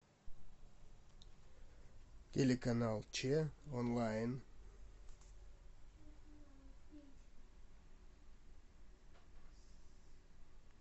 телеканал че онлайн